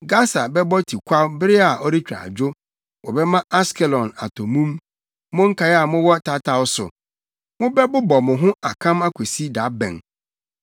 Gasa bɛbɔ tikwaw bere a ɔretwa adwo; wɔbɛma Askelon atɔ mum. Mo nkae a mowɔ tataw so, mobɛbobɔ mo ho akam akosi da bɛn?